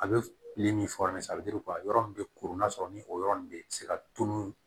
A bɛ min yɔrɔ min bɛ koronna sɔrɔ ni o yɔrɔ ninnu bɛ se ka tunun